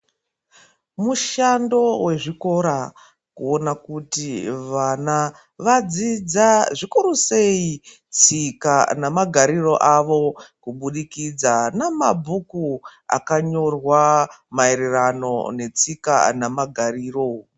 Mushando wezvikora, kuona kuti vana vadzidza ,zvikuru seyi ,tsika nemagariro avo ,kubudikidza namabhuku akanyorwa maerano netsika nemagariro.